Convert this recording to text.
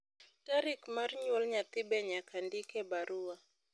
tarik mar nyuol nyathi be nyaka ndik e barua